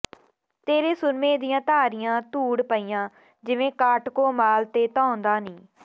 ਤੇਰੇ ਸੁਰਮੇ ਦੀਆਂ ਧਾਰੀਆਂ ਧੂੜ ਪਈਆਂ ਜਿਵੇਂ ਕਾਟਕੋ ਮਾਲ ਤੇ ਧਾਂਉਦਾ ਨੀ